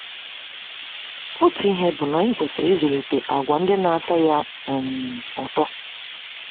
Otu ihe bụ na anyị kwesịrị ịzụlite àgwà ndị na-atọ Ya um ụtọ.